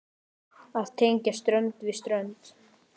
Að tengja strönd við strönd.